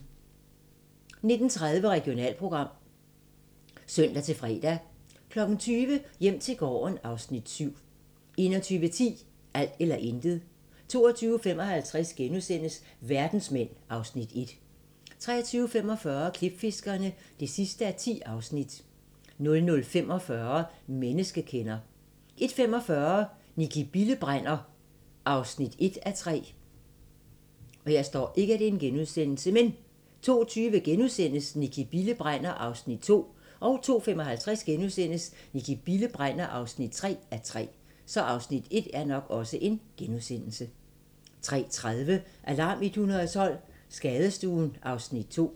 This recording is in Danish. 19:30: Regionalprogram (søn-fre) 20:00: Hjem til gården (Afs. 7) 21:10: Alt eller intet 22:55: Verdensmænd (Afs. 1)* 23:45: Klipfiskerne (10:10) 00:45: Menneskekender 01:45: Nicki Bille brænder (1:3) 02:20: Nicki Bille brænder (2:3)* 02:55: Nicki Bille brænder (3:3)* 03:30: Alarm 112 - Skadestuen (Afs. 2)